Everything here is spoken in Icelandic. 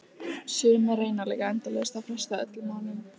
Sumir reyna líka endalaust að fresta öllum málum.